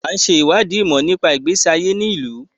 À ń ṣe ìwádìí ìmọ̀ nípa ìgbésí ayé ní ìlú.